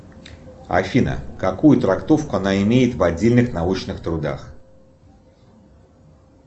афина какую трактовку она имеет в отдельных научных трудах